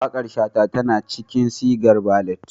Waƙar Shata tana cikin sigar ballad